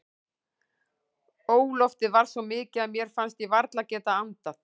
Óloftið var svo mikið að mér fannst ég varla geta andað.